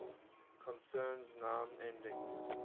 concerns noun endings